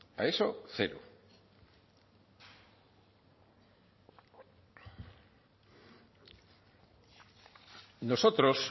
a eso cero nosotros